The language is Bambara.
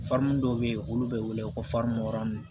dɔw bɛ yen olu bɛ wele ko farini mɔdɛli